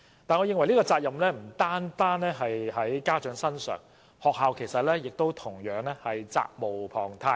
我認為這個責任不應只由家長擔當，學校同樣責無旁貸。